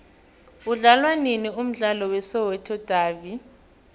udlalwanini umdlalo we soweto davi